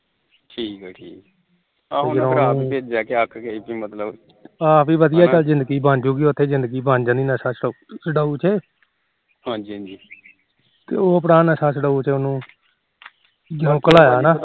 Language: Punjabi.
ਆ ਪੀ ਵਧੀਆਂ ਜਿੰਦਗੀ ਬਣ ਜੁ ਉਥੇ ਜਿੰਦਗੀ ਬਣ ਜਾਣੀ ਉਥੇ ਨਸ਼ਾ ਛਡਾਉ ਚ ਤੇ ਉਹ ਭਰਾ ਨਸ਼ਾ ਛਡਾਓ ਚ ਉਹਨੂੰ ਜਦ ਘਲਾਇਆ ਨਾ